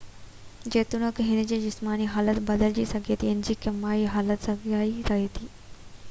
جيتوڻيڪ هن جي جسماني حالت بدلجي سگهي ٿي انهي جي ڪيميائي حالت ساڳئي رهي ٿي